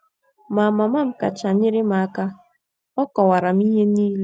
Ma, mama m kacha nyere m aka. Ọ kọwaara m ihe niile.